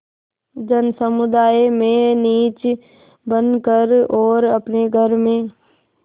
जनसमुदाय में नीच बन कर और अपने घर में